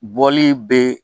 Bɔli bɛ